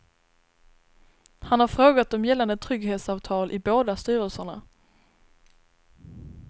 Han har frågat om gällande trygghetsavtal i båda styrelserna.